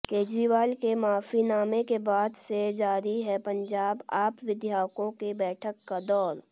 केजरीवाल के माफीनामे के बाद से जारी है पंजाब आप विधायकों की बैठक का दौर